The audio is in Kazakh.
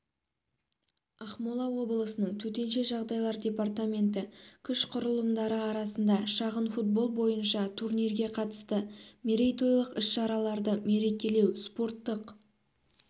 ақмола облысының төтенше жағдайлар департаменті күш құрылымдары арасында шағын-футбол бойынша турнирге қатысты мерейтойлық іс-шараларды мерекелеу спорттық